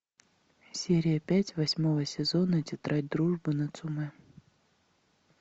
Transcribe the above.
серия пять восьмого сезона тетрадь дружбы нацумэ